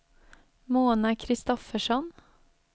Mona Kristoffersson